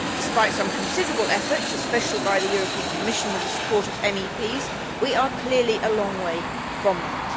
Despite some considerable efforts, especially by the European Commission with the support of MEPs, we are clearly a long way from that.